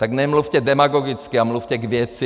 Tak nemluvte demagogicky a mluvte k věci!